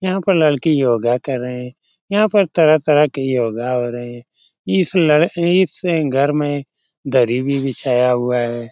यहाँ पर लड़की योगा कर रहे हैं यहाँ पर तरह-तरह के योगा हो रहे हैं इस लर इस घर में दरी भी बिछाया हुआ है।